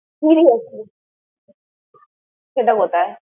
seriously । সেটা কথায়?